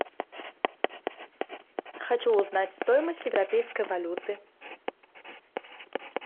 хочу узнать стоимость европейской валюты